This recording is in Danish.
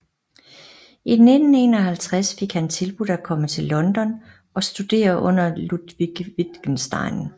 I 1951 fik han tilbudt at komme til London og studere under Ludwig Wittgenstein